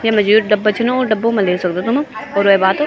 येमा जू डब्बा च ना वु डब्बो मा ले सक्दू तुम अर वे बाद --